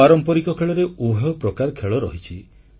ପାରମ୍ପରିକ ଖେଳରେ ଉଭୟ ପ୍ରକାର ଖେଳ ରହିଛି